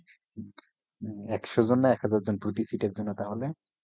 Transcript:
হম হম একশো জনে এক হাজার জন প্রতি seat এর জন্য তাহলে